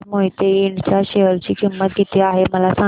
आज मोहिते इंड च्या शेअर ची किंमत किती आहे मला सांगा